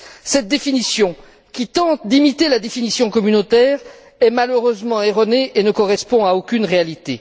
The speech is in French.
Cette définition, qui tente d'imiter la définition communautaire, est malheureusement erronée et ne correspond à aucune réalité.